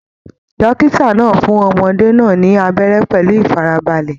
Dókítà náà fún ọmọdé náà ni abẹrẹ pẹlú ifarabalẹ.